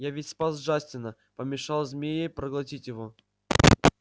я ведь спас джастина помешал змее проглотить его